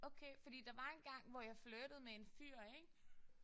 Okay. Fordi der var engang hvor jeg flirtede med en fyr ik